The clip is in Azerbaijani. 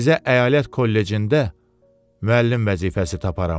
Sizə əyalət kollecində müəllim vəzifəsi taparam.